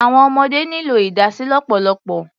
Àwọn ọmọdé nílò ìdásí lọ́pọ̀lọpọ̀.